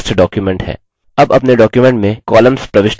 अब अपने document में columns प्रविष्ट करें